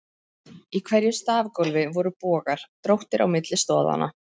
Í hverju stafgólfi voru bogar, dróttir, á milli stoðanna.